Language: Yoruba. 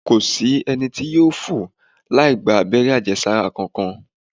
Kò sí ẹni tí yóò fò láì-gba àbẹ́rẹ́ àjẹsára kankan.